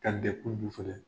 Ka filɛ.